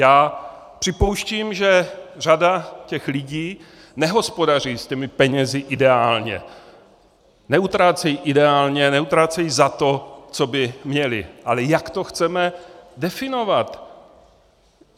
Já připouštím, že řada těch lidí nehospodaří s těmi penězi ideálně, neutrácejí ideálně, neutrácejí za to, co by měli, ale jak to chceme definovat?